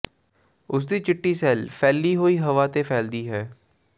ਉਸ ਦੀ ਚਿੱਟੀ ਸੇਲ ਫੈਲੀ ਹੋਈ ਹਵਾ ਤੇ ਫੈਲਦੀ ਹੈ